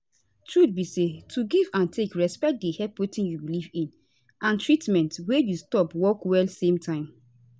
truth be say to give and take respect dey help wetin u belief in and treatment wey you stop work well same time